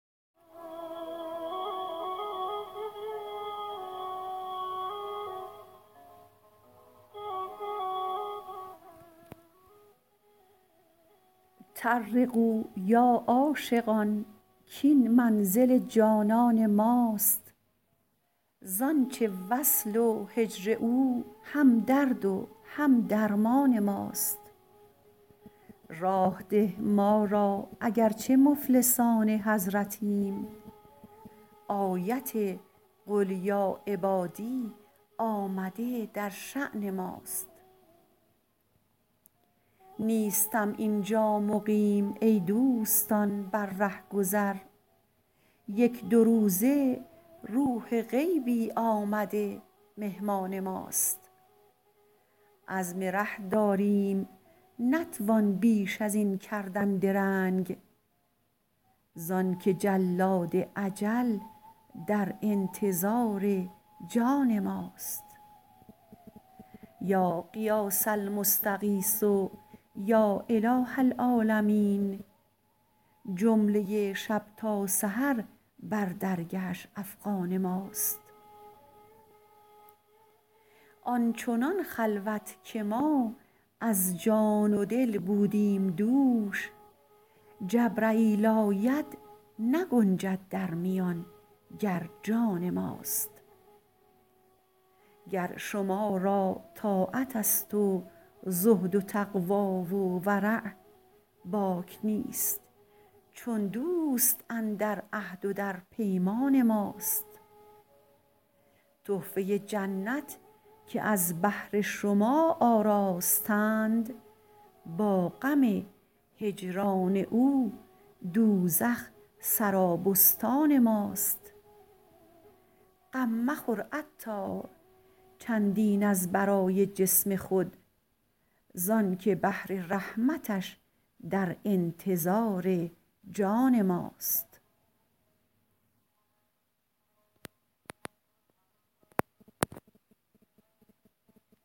طرقوا یا عاشقان کین منزل جانان ماست زانچه وصل و هجر او هم درد و هم درمان ماست راه ده ما را اگر چه مفلسان حضرتیم آیت قل یا عبادی آمده در شان ماست نیستم اینجا مقیم ای دوستان بر رهگذر یک دو روزه روح غیبی آمده مهمان ماست عزم ره داریم نتوان بیش از این کردن درنگ زانکه جلاد اجل در انتظار جان ماست یا غیاث المستغیث یا اله العالمین جمله شب تا سحر بر درگهش افغان ماست آن چنان خلوت که ما از جان و دل بودیم دوش جبرییل آید نگنجد در میان گر جان ماست گر شما را طاعت است و زهد و تقوی و ورع باک نیست چون دوست اندر عهد و در پیمان ماست تحفه جنت که از بهر شما آراستند با غم هجران او دوزخ سرابستان ماست غم مخور عطار چندین از برای جسم خود زانکه بحر رحمتش در انتظار جان ماست